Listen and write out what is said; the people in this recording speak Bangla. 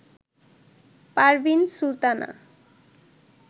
পারভিন সুলতানা